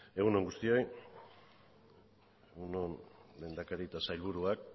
egunon guztioi egun on lehendakari eta sailburuak